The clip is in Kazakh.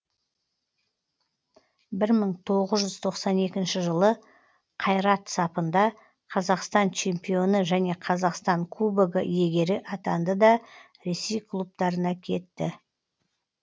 бір мың тоғыз жүз тоқсан екінші жылы қайрат сапында қазақстан чемпионы және қазақстан кубогы иегері атанды да ресей клубтарына кетті